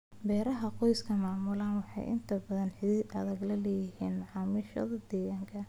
Beeraha qoysku maamulaan waxay inta badan xidhiidh adag la leeyihiin macaamiishooda deegaanka.